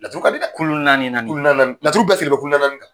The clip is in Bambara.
Laturu ka di dɛ kulu naani naani laturu ka sigi ko kulu naani